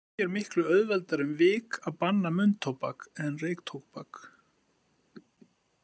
Því er miklu auðveldara um vik að banna munntóbak en reyktóbak.